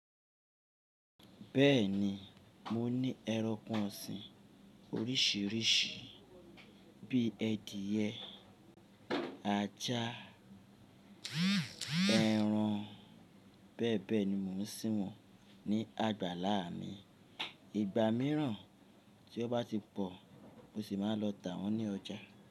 Bẹ́ẹ̀ni, mo ní ẹranko ọ̀sìn oríṣìíríṣìí bí i edìyẹ, ajá, ẹran. Bẹ́ẹ̀ bẹ́ẹ̀ ni mò ń ṣí wọn ní àgbàlá mi. Igba míràn tí o bá ti pọ̀, mo sì máa lọ tà wọ́n ní ọjà.